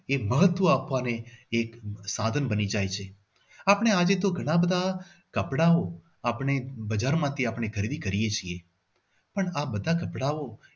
એક મહત્વ આપવાને એક સાધન બની જાય છે. આપણે તો આજે ઘણા બધા કપડાઓ આપણે બજારમાંથી આપણે ખરીદી કરીએ છીએ પણ આ બધા કપડાઓ